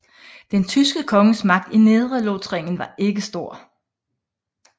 Den tyske konges magt i Nedrelothringen var ikke stor